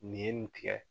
Nin ye nin tigɛ